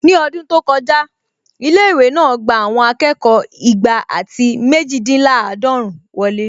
Ní ọdún tó kọjá, ilé-ìwé náà gbà àwọn akẹ́kọ̀ọ́ igba àti méjìdínláàdọ́run wọlé